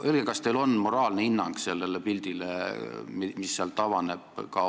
Öelge, kas teil on olemas ka moraalne hinnang sellele pildile, mis sealt avaneb.